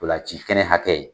Ntolan ci kɛnɛ hakɛ